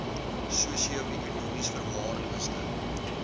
sosio ekonomies verwaarloosde